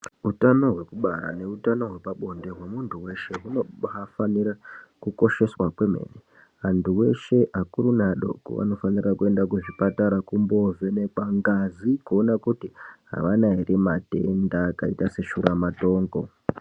Hutano hwekubara nehutano hwepabonde hwemuntu weshe anofanira kukosheswa kwemene antu eshe akuru neadoko anofana kumboenda kuzvipatara kundovhenekwa ngazi kuona kuti avana here matenda akaita seshura matongo.